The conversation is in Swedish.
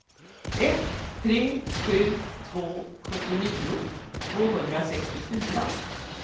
ett tre sju två sjuttionio tvåhundrasextiofyra